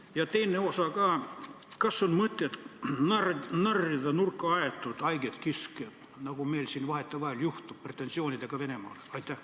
Ja teine küsimus ka: kas on mõtet narrida nurka aetud haiget kiskjat, nagu meil siin vahetevahel juhtub, esitades Venemaale pretensioone?